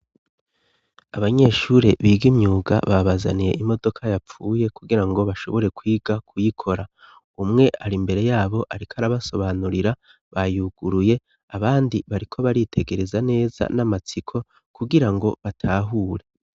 Abanyeshure big' imyuga babazaniye imodoka yapfuye kugira ngo bashobore kwiga kuyikora ,umwe ari mbere yabo arik' arabasobanurira bayuguruye abandi bariko baritegereza neza n'amatsiko kugira ngo batahure.